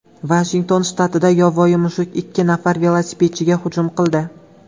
Vashington shtatida yovvoyi mushuk ikki nafar velosipedchiga hujum qildi.